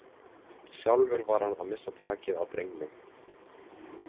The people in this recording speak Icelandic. Sjálfur var hann að missa takið á drengnum.